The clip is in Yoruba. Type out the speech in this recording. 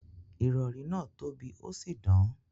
Irọ̀rì náa tó bí osì dán.